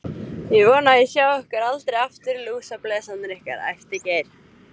Ég vona að ég sjái ykkur aldrei aftur, lúsablesarnir ykkar, æpti Geir.